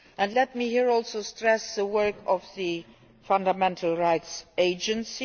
Let me here also stress the work of the Fundamental Rights Agency.